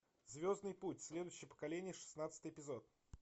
звездный путь следующее поколение шестнадцатый эпизод